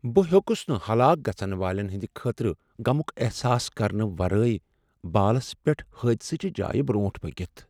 بہٕ ہیوٚکس نہٕ ہلاک گژھن والین ہنٛد خٲطرٕ غمک احساس کرنہٕ ورٲے بالس پیٹھ حٲدثہٕ چہ جایہ برٛونٹھ پٔکتھ۔